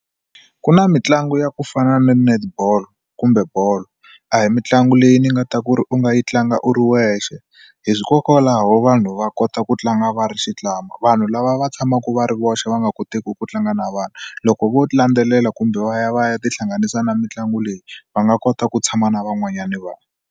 Ku na mitlangu ya ku fana na netball kumbe bolo a hi mitlangu leyi ni nga ta ku ri u nga yi tlanga u ri wexe hikokwalaho vanhu va kota ku tlanga va ri vanhu lava va tshamaka va ri voxe va nga koteki ku tlanga na vanhu loko vo landzelela kumbe va ya va ya tihlanganisa na mitlangu leyi va nga kota ku tshama na van'wanyana vanhu.